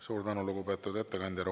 Suur tänu, lugupeetud ettekandja!